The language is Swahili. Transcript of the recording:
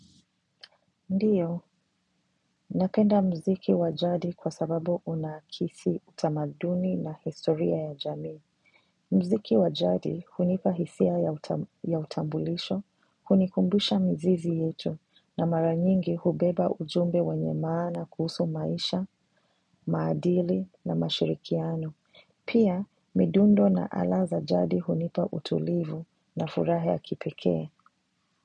Ndiyo, napenda mziki wa jadi kwa sababu unakisi utamaduni na historia ya jamii. Mziki wa jadi hunipa hisia ya utambulisho, hunikumbisha mizizi yetu na maranyingi hubeba ujumbe wenye maana kuhusu maisha, maadili na mashirikiano. Pia, midundo na ala za jadi hunipa utulivu na furaha ya kipekee.